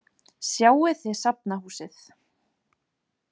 Sjáið þið Safnahúsið.